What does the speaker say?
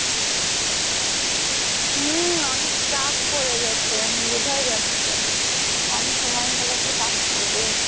হু অনেক চাপ পরে গেছে বোঝাই যাচ্ছে কম সময় হলে তো চাপ পরবেই